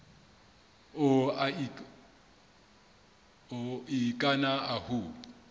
o okina ahu